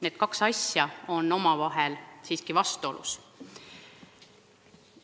Need kaks asja on omavahel seega vastuolus.